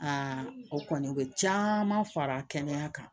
o kɔni u bɛ caman fara kɛnɛya kan